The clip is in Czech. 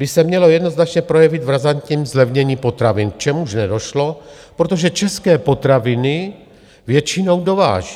by se mělo jednoznačně projevit v razantním zlevnění potravin, k čemuž nedošlo, protože české potraviny většinou dováží.